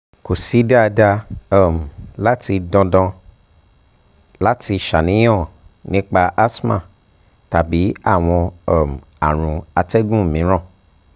ko si dandan um lati dandan um lati ṣàníyàn um nipa asthma tabi awọn um arun atẹgun miiran